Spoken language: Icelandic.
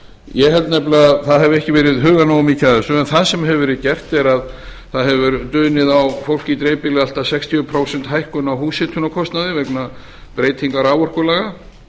ég held nefnilega að það hafi ekki verið hugað nógu mikið að þessu það sem hefur verið gert er að það hefur dunið á fólki í dreifbýli allt að sextíu prósent hækkun á húshitunarkostnaði vegna breytinga raforkulaga